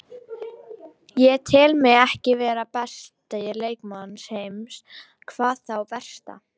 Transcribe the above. Ég tel mig ekki vera besta leikmann heims, hvað þá versta.